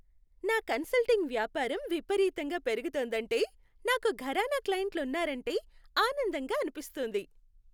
నా కన్సల్టింగ్ వ్యాపారం విపరీతంగా పెరుగుతోందంటే, నాకు ఘరానా క్లయింట్లు ఉన్నారంటే ఆనందంగా అనిపిస్తుంది.